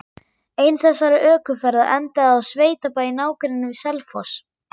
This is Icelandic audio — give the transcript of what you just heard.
Ein þessara ökuferða endaði á sveitabæ í nágrenni við Selfoss.